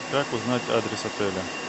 как узнать адрес отеля